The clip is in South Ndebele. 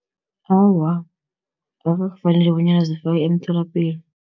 Awa, akwafaneli bonyana zifakwe emtholapilo.